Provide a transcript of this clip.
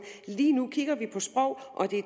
lige nu kigger vi på sprog og